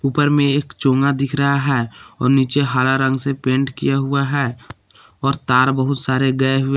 ऊपर में एक चोंगा दिख रहा है और नीचे हरा रंग से पेंट किया हुआ है और तार बहुत सारे गए हुए--